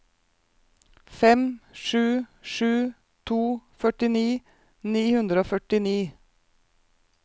fem sju sju to førtini ni hundre og førtini